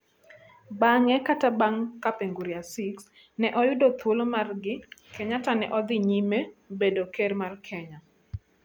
Bange kata bang' ka Kapenguria Six ne oyudo Thuolo margi, Kenyatta ne odhi nyime bedo ker mar Kenya.